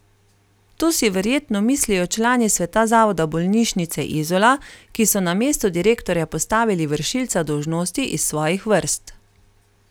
To si verjetno mislijo člani sveta zavoda bolnišnice Izola, ki so na mesto direktorja postavili vršilca dolžnosti iz svojih vrst.